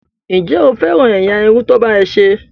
Ǹjẹ́ o féràn ẹ̀yà irun tí wọ́n bá ọ ṣe?